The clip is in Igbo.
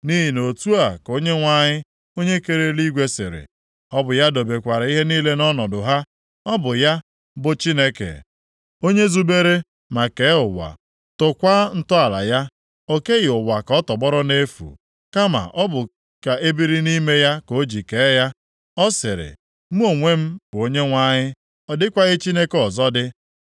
Nʼihi na otu a ka Onyenwe anyị onye kere eluigwe sịrị, ọ bụ ya dobekwara ihe niile nʼọnọdụ ha. Ọ bụ ya, bụ Chineke, onye zubere ma kee ụwa, tọkwaa ntọala ya. O keghị ụwa ka ọ tọgbọrọ nʼefu, kama ọ bụ ka e biri nʼime ya ka o ji kee ya. Ọ sịrị, “Mụ onwe m bụ Onyenwe anyị; ọ dịkwaghị Chineke ọzọ dị.